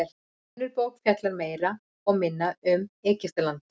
önnur bók fjallar meira og minna öll um egyptaland